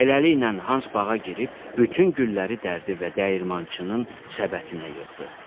Beləliklə, Hans bağa girib bütün gülləri dərdi və dəyirmançının səbətinə yığdı.